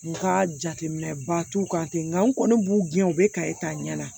N ka jateminɛ ba t'u kan ten nka n kɔni b'u gɛn u bɛ kaye ta ɲɛ na